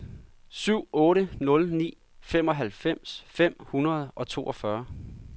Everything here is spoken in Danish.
syv otte nul ni femoghalvfems fem hundrede og toogfyrre